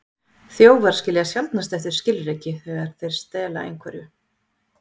Þjófar skilja sjaldnast eftir skilríki þegar þeir stela einhverju.